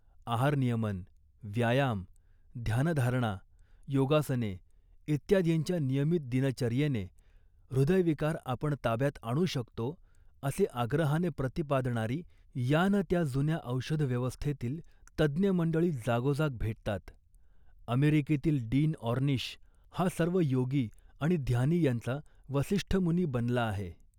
आहारनियमन, व्यायाम, ध्यानधारणा, योगासने इत्यादिंच्या नियमित दिनचर्येने हृदयविकार आपण ताब्यात आणू शकतो असे आग्रहाने प्रतिपादणारी या ना त्या जुन्या औषधव्यवस्थेतील तज्ज्ञ मंडळी जागोजाग भेटतात. अमेरिकेतील डीन ऑर्निश हा सर्व योगी आणि ध्यानी यांचा वसिष्ठमुनी बनला आहे